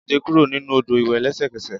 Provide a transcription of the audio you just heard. Jade kuro ninu odo iwẹ lẹsẹkẹsẹ!